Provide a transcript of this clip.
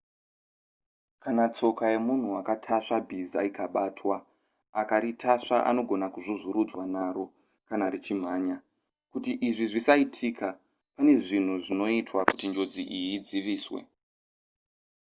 kana tsoka yemunhu akatasva bhiza ikabatwa akaritasva anogona kuzvuzvurudzwa naro kana richimhanya kuti izvi zvisaitika pane zvinhu zvinoitwa kuti njodzi iyi idziviswe